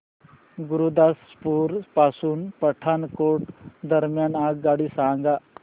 गुरुदासपुर पासून पठाणकोट दरम्यान आगगाडी सांगा